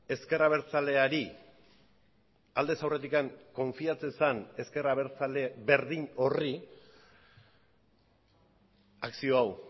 ezker abertzaleari aldez aurretik konfiatzen zen ezker abertzale berdin horri akzio hau